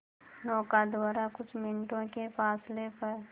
नौका द्वारा कुछ मिनटों के फासले पर